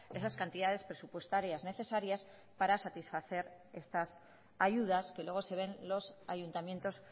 esas cantidades presupuestarias necesarias para satisfacer estas ayudas que luego se ven los ayuntamientos